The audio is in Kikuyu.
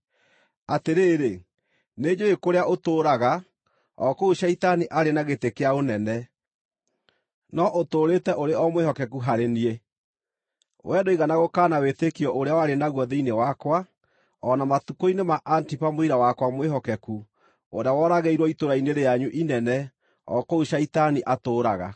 Atĩrĩrĩ, nĩnjũũĩ kũrĩa ũtũũraga, o kũu Shaitani arĩ na gĩtĩ kĩa ũnene. No ũtũũrĩte ũrĩ o mwĩhokeku harĩ niĩ. Wee ndũigana gũkaana wĩtĩkio ũrĩa warĩ naguo thĩinĩ wakwa, o na matukũ-inĩ ma Antipa, mũira wakwa mwĩhokeku, ũrĩa woragĩirwo itũũra-inĩ rĩanyu inene, o kũu Shaitani atũũraga.